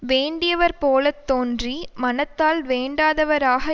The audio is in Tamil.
வேண்டியவர் போல தோன்றி மனத்தால் வேண்டாதவராக